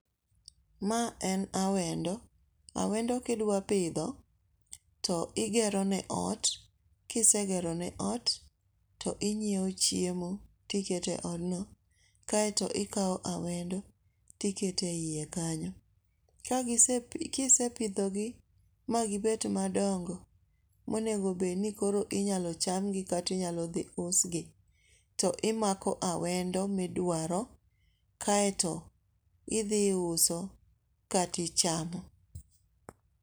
Ma en awendo, awendo kidwa pidho, to igerone ot kisegerone ot to inyewo chiemo tikete e odno kaeto ikawo awendo tikete e iye kanyo, kisepithogi magibet madongo monego bed ni koro inyalo chamgi kata inyalo thi usgi to imako awendo midwaro kaeto idhi iuso kati chamo.